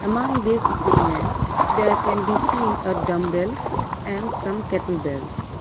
among these equipments there can be seen a dumbbell and some kettlebells.